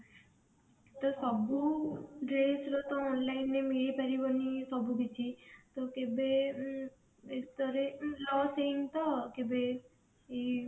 ତ ସବୁ dress ର ତ online ରେ ମିଳି ପାରିବନି ସବୁ କିଛି ତ କେବେ ଉଁ loss ହେଇନି ତ କେବେ ଏଇ